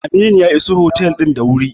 Aminu ya iso otel din da wuri.